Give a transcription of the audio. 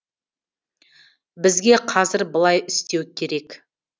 бізге қазір былай істеу керек